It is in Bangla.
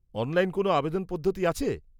অনলাইন কোন আবেদন পদ্ধতি আছে?